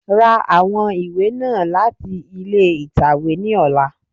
Ra àwọn ìwé náà láti ilé ìtàwé ní ọlá.